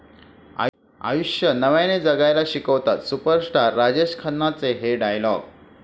आयुष्य नव्याने जगायला शिकवतात सुपरस्टार राजेश खन्नाचे 'हे' डायलॉग